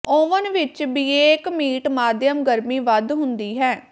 oven ਵਿਚ bake meat ਮਾਧਿਅਮ ਗਰਮੀ ਵੱਧ ਹੁੰਦੀ ਹੈ